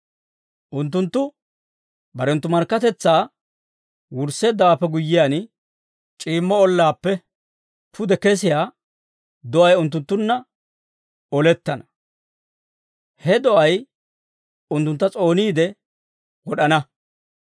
Unttunttu barenttu markkatetsaa wursseeddawaappe guyyiyaan, c'iimmo ollaappe pude kesiyaa do'ay unttunttunna olettana. He do'ay unttuntta s'ooniide wod'ana.